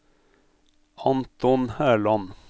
Anton Herland